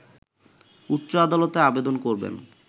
উচ্চ আদালতে আবেদন করবেন